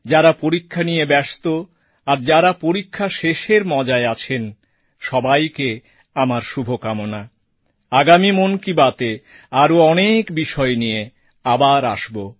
যারা পরীক্ষা নিয়ে ব্যস্ত আর যারা পরীক্ষা শেষের মজায় আছেন সবাইকে আমার শুভ কামনা আগামী মন কি বাতএ আরও অনেক বিষয় নিয়ে আবার আসব